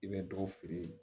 I bɛ dɔ feere yen